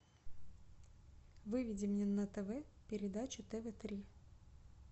выведи мне на тв передачу тв три